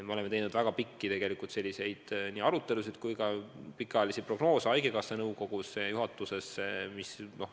Me oleme tegelikult teinud väga põhjalikke arutelusid ja pikaajalisi prognoose haigekassa nõukogus ja juhatuses.